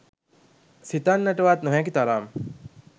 සිතන්නටවත් නොහැකි තරම්